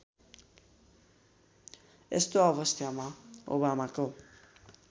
यस्तो अवस्थामा ओबामाको